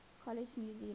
college new zealand